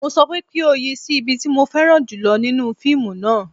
Mo sọ wípé kí o yi sí ibi tí mo fẹ́ran jùlọ nínú fíìmù náà